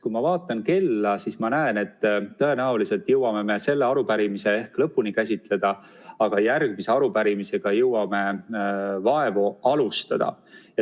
Kui ma vaatan kella, siis ma näen, et tõenäoliselt jõuame me selle arupärimise ehk lõpuni käsitleda, aga järgmise arupärimisega jõuame vaevu alustada.